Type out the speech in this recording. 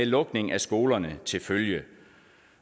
lukning af skolerne til følge